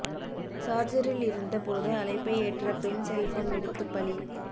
சார்ஜரில் இருந்த போது அழைப்பை ஏற்ற பெண் செல்போன் வெடித்துப் பலி